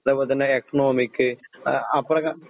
അതേപോലെതന്നെ എക്കണോമിക് അപ്പൊഴൊക്കെ